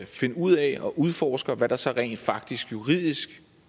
ud af at udforske hvad der så rent faktisk juridisk